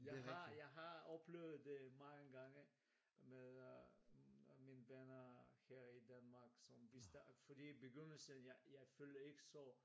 Jeg har jeg har oplevet det mange gange med øh mine venner her i Danmark som vi fordi i begyndelsen jeg føler ikke så